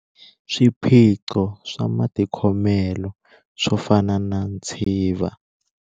Swiphiqo swa matikhomelo, swo fana na ntshiva.